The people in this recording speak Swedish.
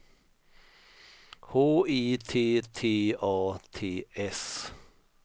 H I T T A T S